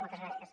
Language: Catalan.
moltes gràcies